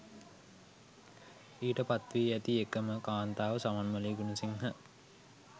ඊට පත් වී ඇති එක ම කාන්තාව සමන්මලී ගුණසිංහ